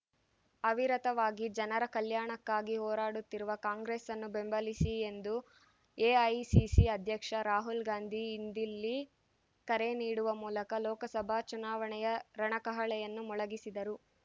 ಅವಿರತವಾಗಿ ಜನರ ಕಲ್ಯಾಣಕ್ಕಾಗಿ ಹೋರಾಡುತ್ತಿರುವ ಕಾಂಗ್ರೆಸ್‌ನ್ನು ಬೆಂಬಲಿಸಿ ಎಂದು ಎಐಸಿಸಿ ಅಧ್ಯಕ್ಷ ರಾಹುಲ್ ಗಾಂಧಿ ಇಂದಿಲ್ಲಿ ಕರೆ ನೀಡುವ ಮೂಲಕ ಲೋಕಸಭಾ ಚುನಾವಣೆಯ ರಣಕಹಳೆಯನ್ನು ಮೊಳಗಿಸಿದರು